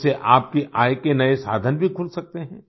इससे आपकी आय के नए साधन भी खुल सकते हैं